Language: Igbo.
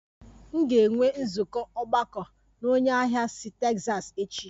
M ga-enwe nzukọ ogbako na onye ahịa si Texas echi